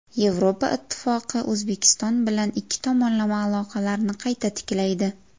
Yevropa Ittifoqi O‘zbekiston bilan ikki tomonlama aloqalarni qayta tiklaydi.